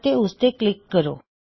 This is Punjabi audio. ਅਤੇ ਉਸਤੇ ਕਲਿੱਕ ਕਰੋ